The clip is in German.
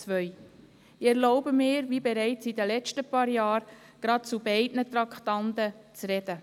Ich erlaube mir, wie bereits in den letzten paar Jahren, gerade zu beiden Traktanden zu sprechen.